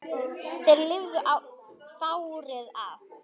Þeir lifðu fárið af